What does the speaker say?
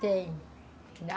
Tem